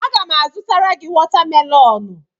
Aga m azụtara gị watamelonụ.